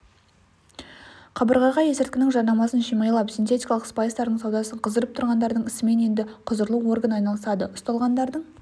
қабырғаға есірткінің жарнамасын шимайлап синтетикалық спайстардың саудасын қыздырып тұрғандардың ісімен енді құзырлы орган айналысады ұсталғандарың